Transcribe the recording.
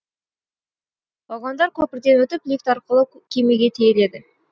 вагондар көпірден өтіп лифт арқылы кемеге тиеледі